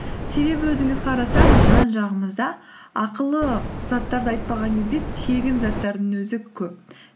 себебі өзіміз қарасақ жан жағымызда ақылы заттарды айтпаған кезде тегін заттардың өзі көп